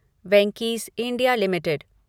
Venky's India limited